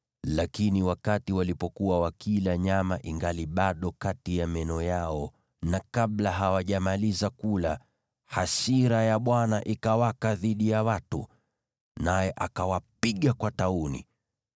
Lakini walipokuwa wakila nyama, ilipokuwa ingali kati ya meno yao na kabla hawajamaliza kula, hasira ya Bwana ikawaka dhidi ya watu, naye akawapiga kwa tauni.